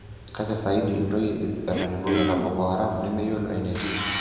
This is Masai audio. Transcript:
Kake saidi ontoyie ip eton eibungita Boko Haram nemeyioloi enetii.